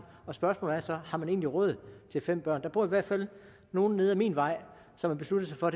og spørgsmålet er så har man egentlig råd til fem børn der bor i hvert fald nogle nede ad min vej som har besluttet sig for